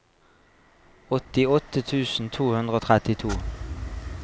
åttiåtte tusen to hundre og trettito